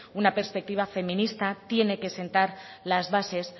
una perspectiva feminista tiene que sentar las bases